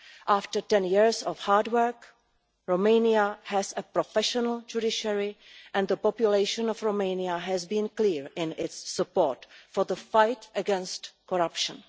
After ten years of hard work, Romania has a professional judiciary and the population of Romania has been clear in its support for the fight against corruption.